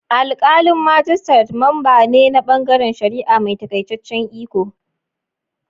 Alkalin majistare memba ne na bangaren shari'a mai takaitaccen iko.